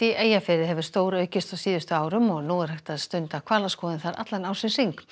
Eyjafirði hefur stóraukist á síðustu árum og nú er hægt að stunda hvalaskoðun þar allan ársins hring